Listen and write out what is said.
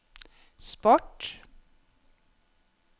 sport